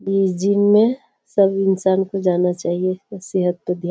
ये जिम में सब इंसान को जाना चाहिए सेहत पे ध्यान --